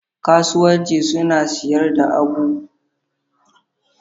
Kasuwanci siyan da sayar da abubuwa, suna musayar musayar tattalin arziki.